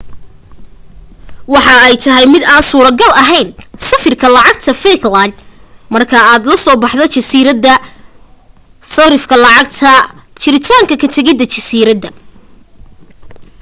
waxa ay ay tahay mid aan suro gal aheyn sarifka lacagta falklands marka aad ka so baxdo jasiirada sarifka lacagta jirintaanka ka tegida jasiiradaha